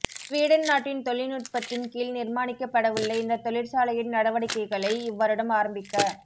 Sweden நாட்டின் தொழில்நுட்பத்தின் கீழ் நிர்மாணிக்கப்படவுள்ள இந்த தொழிற்சாலையின் நடவடிக்கைகளை இவ்வருடம் ஆரம்பிக்க